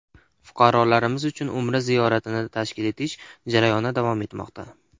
Fuqarolarimiz uchun umra ziyoratini tashkil etish jarayoni davom etmoqda.